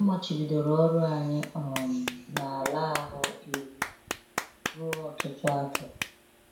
A machibidoro ọrụ anyị um n’ala ahụ iwu ruo ọtụtụ afọ.